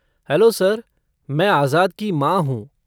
Hello sir, मैं आज़ाद की माँ हूँ।